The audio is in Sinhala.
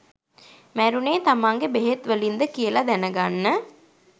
මැරුණේ තමන්ගෙ බෙහෙත් වලින්ද කියල දැනගන්න